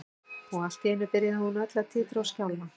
Og allt í einu byrjaði hún öll að titra og skjálfa.